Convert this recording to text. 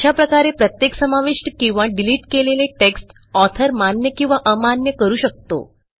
अशा प्रकारे प्रत्येक समाविष्ट किंवा डिलिट केलेले टेक्स्ट ऑथर मान्य किंवा अमान्य करू शकतो